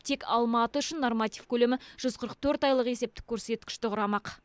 тек алматы үшін норматив көлемі жүз қырық төрт айлық есептік көрсеткішті құрамақ